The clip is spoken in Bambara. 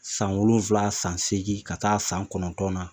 San wolonfla, san seegin ka taa san kɔnɔntɔn na